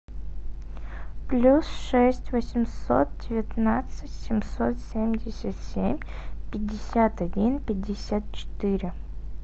плюс шесть восемьсот девятнадцать семьсот семьдесят семь пятьдесят один пятьдесят четыре